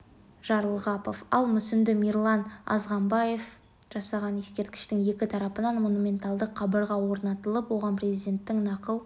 жарылғапов ал мүсінді мирлан азмағамбетов жасаған ескерткіштің екі тарапына монументалды қабырға орнатылып оған президенттің нақыл